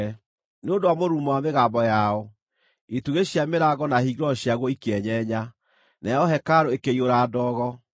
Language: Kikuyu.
Nĩ ũndũ wa mũrurumo wa mĩgambo yao, itugĩ cia mĩrango na hingĩro ciaguo ikĩenyenya, nayo hekarũ ĩkĩiyũra ndogo.